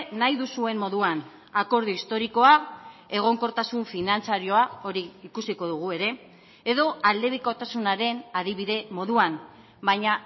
nahi duzuen moduan akordio historikoa egonkortasun finantzarioa hori ikusiko dugu ere edo aldebikotasunaren adibide moduan baina